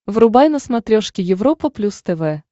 врубай на смотрешке европа плюс тв